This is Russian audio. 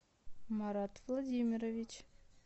марат владимирович